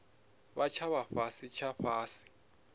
tsha vha fhasi tsha fhasi